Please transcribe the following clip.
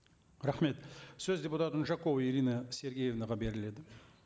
рахмет сөз депутат унжакова ирина сергеевнаға беріледі